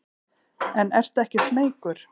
En ertu ekki smeykur?